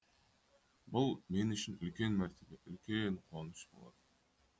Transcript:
бұл мен үшін үлкен мәртебе үлкен қуаныш болатын